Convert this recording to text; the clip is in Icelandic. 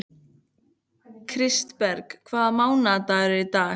Kristberg, hvaða mánaðardagur er í dag?